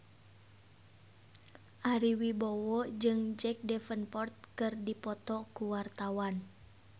Ari Wibowo jeung Jack Davenport keur dipoto ku wartawan